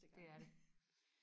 det er det